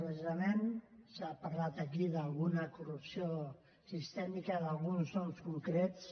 precisament s’ha parlat aquí d’alguna corrupció sistèmica d’alguns noms concrets